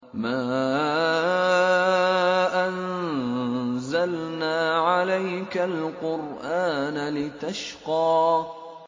مَا أَنزَلْنَا عَلَيْكَ الْقُرْآنَ لِتَشْقَىٰ